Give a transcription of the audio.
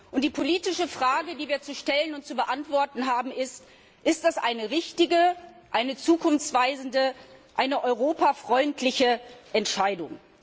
Und die politische Frage, die wir zu stellen und zu beantworten haben, ist Ist das eine richtige, eine zukunftsweisende, eine europafreundliche Entscheidung?